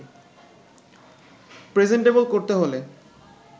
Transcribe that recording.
presentable করতে হলে